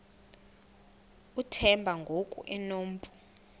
uthemba ngoku enompu